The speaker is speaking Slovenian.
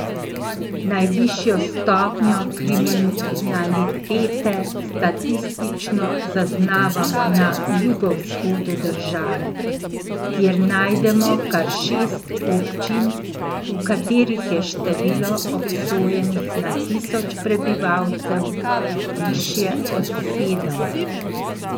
Najvišjo stopnjo kriminalitete statistično zaznavamo na jugovzhodu države, kjer najdemo kar šest občin, v katerih je število obsojenih na tisoč prebivalcev višje od sedem.